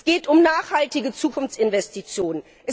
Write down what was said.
Es geht um nachhaltige Zukunftsinvestitionen.